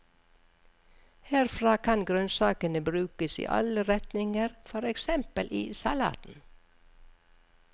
Herfra kan grønnsakene brukes i alle retninger, for eksempel i salaten.